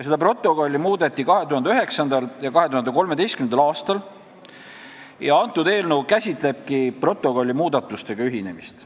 Seda protokolli muudeti 2009. ja 2013. aastal ning kõnealune eelnõu käsitlebki protokolli muudatustega ühinemist.